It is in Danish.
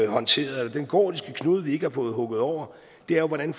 håndteret eller den gordiske knude vi ikke har fået hugget over er jo hvordan